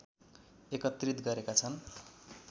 एकत्रित गरेका छन्